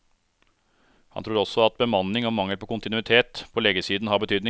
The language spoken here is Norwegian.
Han tror også at bemanning og mangel på kontinuitet på legesiden har betydning.